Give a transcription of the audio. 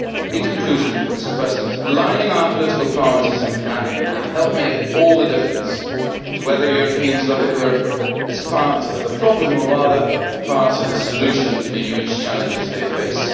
In conclusion, Mr President, aligning our political priorities and planning can help make all the difference to whether Europeans look at Europe as part of the problem or rather as part of the solution to the huge challenges they face.